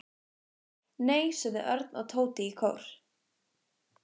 Nei sögðu Örn og Tóti í kór.